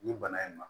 Nin bana in ma